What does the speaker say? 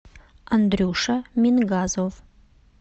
андрюша мингазов